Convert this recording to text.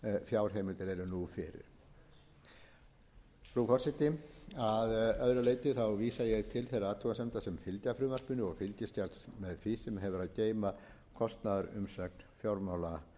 fjárheimildir eru nú fyrir frú forseti að öðru leyti vísa ég til þeirra athugasemda sem fylgja frumvarpinu og fylgiskjals með því sem hefur að geyma kostnaðarumsögn fjármálaráðuneytisins ég vil einmitt